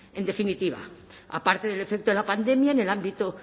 en definitiva aparte del efecto de la pandemia en el ámbito